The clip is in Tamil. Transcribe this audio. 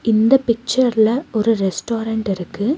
இந்த பிச்சர்ல ஒரு ரெஸ்டாரன்ட் இருக்கு.